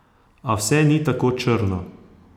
A vse ni tako črno.